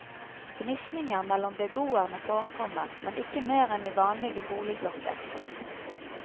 Gnisninger mellom beboerne forekommer, men ikke mer enn i vanlige boligblokker.